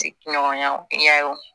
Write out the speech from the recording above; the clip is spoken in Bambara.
Ti ɲɔgɔn ya ye